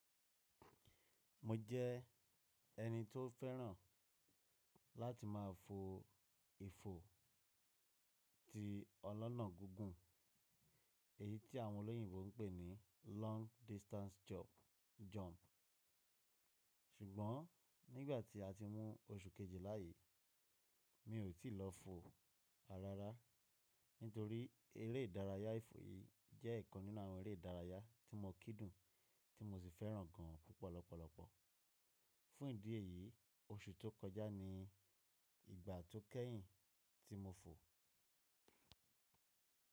Mo jẹ́ ẹni tó fẹ́ràn láti má a fo ifo ti ọlọ́nà gígùn, èyí tí àwọn olóyìnbo ń pè ní long distance jump. Ṣùgbọ́n nígbà tí a ti mú oṣù kejìlá yìí, mi ò tí lọ fo ràràrá nítorí eré ìdárayá ifo yìí jẹ́ ọ̀kan nínú àwọn eré ìdárayá tí mo kudùn tí mo sì fẹ́ràn gan púpọ̀ lọ́pọ̀lọpọ̀. Fún ìdí èyí, oṣù tó kọjá ni ìgbà tó kẹ́yìn tí mo fo.